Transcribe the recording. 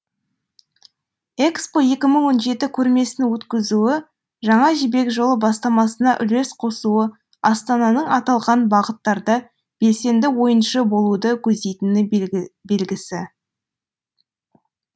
экспо екі мың он жеті көрмесін өткізуі жаңа жібек жолы бастамасына үлес қосуы астананың аталған бағыттарда белсенді ойыншы болуды көздейтіні белгісі